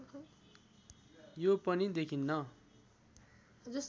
यो पनि देखिन्न